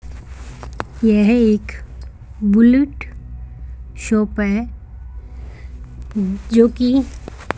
यह एक bullet shop है जो की --